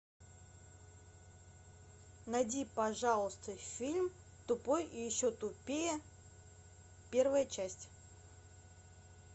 найди пожалуйста фильм тупой и еще тупее первая часть